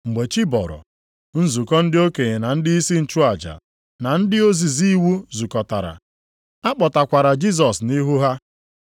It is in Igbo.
Mgbe chi bọrọ, nzukọ ndị okenye na ndịisi nchụaja, na ndị ozizi iwu zukọtara, a kpọtakwara Jisọs nʼihu ha.